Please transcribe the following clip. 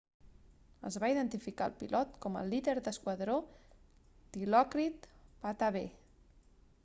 es va identificar el pilot com el líder de l'esquadró dilokrit pattavee